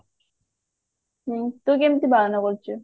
ହଁ ତୁ କେମତି ପାଳନ କରିଛୁ